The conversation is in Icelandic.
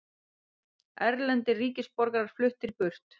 Erlendir ríkisborgarar fluttir burt